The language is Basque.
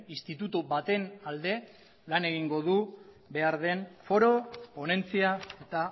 instituto baten alde lan egingo du behar den foro ponentzia eta